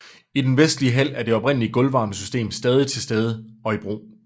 I den vestlige hal er det oprindelige gulvvarmesystem stadig til stede og i brug